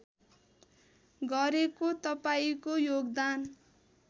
गरेको तपाईँको योगदान